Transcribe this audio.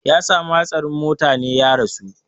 Ya sami hatsarin motane ya rasu